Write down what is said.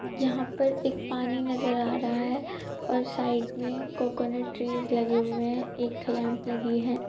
यहाँ पर एक पानी नजर आ रहा है और साइड में कोकोनेट ट्रीस लगे हुए है एक ठे लैंप लगी है।